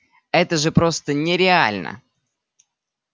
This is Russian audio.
это же просто нереально